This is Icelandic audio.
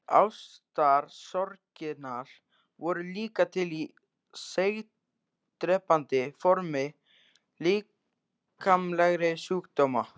Ástarsorgirnar voru líka til í seigdrepandi formi líkamlegra sjúkdóma.